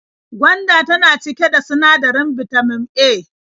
Gwanda tana cike da sinadarin bitamin A.